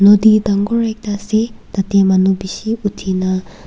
nodi dagor ekta ase tate manu bishi uthi na.